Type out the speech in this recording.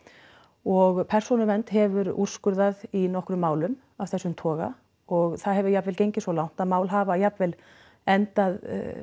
og Persónuvernd hefur úrskurðað í nokkrum málum af þessum toga og það hefur jafnvel gengið svo langt að mál hafa jafnvel endað